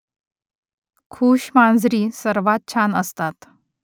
खूश मांजरी सर्वात छान असतात